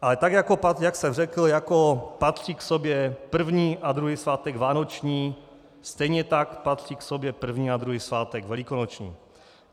Ale tak jak jsem řekl, jako patří k sobě první a druhý svátek vánoční, stejně tak patří k sobě první a druhý svátek velikonoční.